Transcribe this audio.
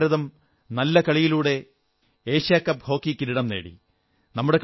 ഹോക്കിയിൽ ഭാരതം നല്ല കളിയിലൂടെ ഏഷ്യാ കപ്പ് ഹോക്കി കിരീടം നേടി